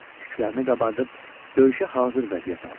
Tüklərini qabartıb döyüşə hazır vəziyyət aldı.